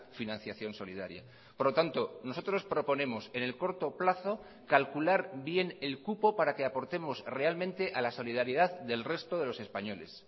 financiación solidaria por lo tanto nosotros proponemos en el corto plazo calcular bien el cupo para que aportemos realmente a la solidaridad del resto de los españoles